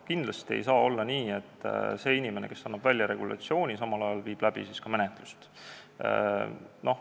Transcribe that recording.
Kindlasti ei saa olla nii, et inimene, kes annab välja regulatsiooni, viib samal ajal läbi ka menetlust.